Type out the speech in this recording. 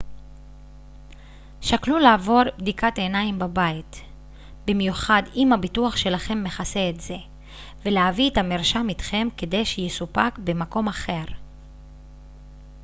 שקלו לעבור בדיקת עיניים בבית במיוחד אם הביטוח שלכם מכסה את זה ולהביא את המרשם איתכם כדי שיסופק במקום אחר